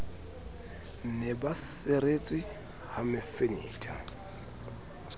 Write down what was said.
ne ba seretswe ha mefenetha